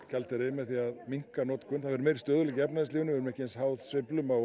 gjaldeyri með því að minnka notkun það verður miklu meiri stöðugleiki í efnahagslífinu við verðum ekki eins háð sveiflum á